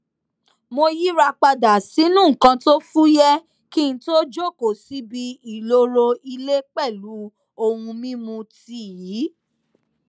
mo yíra padà sínú nnkan tó fúyẹ kí n tó jókòó síbi ìloro ilé pẹlú ohun mímu tíì